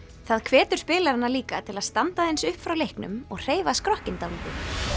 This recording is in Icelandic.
það hvetur spilarana líka til að standa aðeins upp frá leiknum og hreyfa skrokkinn dálítið